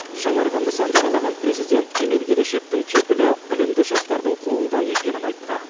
жаңарған нысанды аралаған президент кемел келешектің кепілі білімді жастардың қолында екенін айтты